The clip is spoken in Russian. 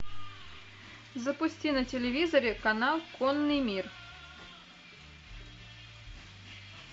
запусти на телевизоре канал конный мир